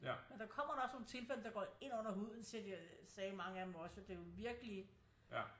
Men der kommer da også nogle tilfælde der går ind under huden siger de øh sagde mange af dem også og det jo virkelig